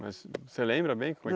Mas você lembra bem?